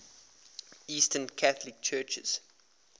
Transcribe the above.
eastern catholic churches